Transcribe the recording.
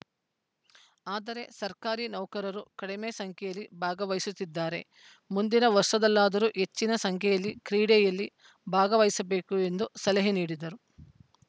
ಆದರೆ ಸರ್ಕಾರಿ ನೌಕರರು ಕಡಿಮೆ ಸಂಖ್ಯೆಯಲ್ಲಿ ಭಾಗವಹಿಸುತ್ತಿದ್ದಾರೆ ಮುಂದಿನ ವರ್ಷದಲ್ಲಾದರೂ ಹೆಚ್ಚಿನ ಸಂಖ್ಯೆಯಲ್ಲಿ ಕ್ರೀಡೆಯಲ್ಲಿ ಭಾಗವಹಿಸಬೇಕು ಎಂದು ಸಲಹೆ ನೀಡಿದರು